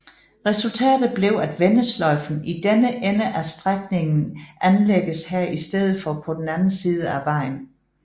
Resultatet blev at vendesløjfen i denne ende af strækningen anlægges her i stedet for på den anden side af vejen